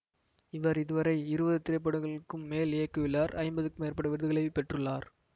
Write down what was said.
இவர் இதுவரை இருபது திரைப்படங்களுக்கும் மேல் இயக்கியுள்ளார் ஐம்பதிற்கும் மேற்பட்ட விருதுகளை பெற்றுள்ளார்